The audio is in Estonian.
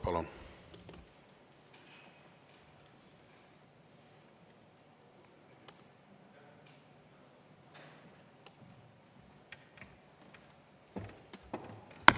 Palun!